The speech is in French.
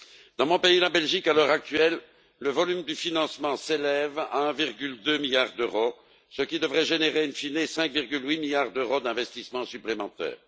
Dans mon pays la Belgique à l'heure actuelle, le volume du financement s'élève à 1,2 milliard d'euros, ce qui devrait générer in fine 5,8 milliards d'euros d'investissements supplémentaires.